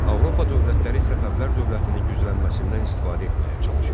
Avropa dövlətləri Səfəvilər dövlətinin güclənməsindən istifadə etməyə çalışırdılar.